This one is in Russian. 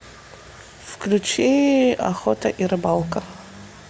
включи охота и рыбалка